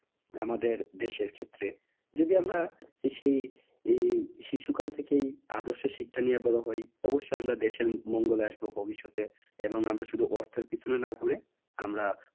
আমাদের দেশের ক্ষেত্রে। যদি আমরা সেই এই শিশুকাল থেকেই আদর্শ শিক্ষা নিয়ে বড়ো হই অবশ্যই আমরা দেশের মঙ্গলে আসবো ভবিষ্যতে। এবং আমরা শুধু অর্থের পেছনে না ঘুরে আমরা